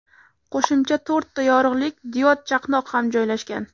Qo‘shimcha to‘rtta yorug‘lik diod chaqnoq ham joylashgan.